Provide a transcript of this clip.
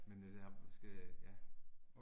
Men altså jeg skal, ja